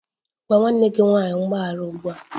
Gwa nwanne gị nwanyị mgbaghara ugbu a!